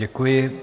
Děkuji.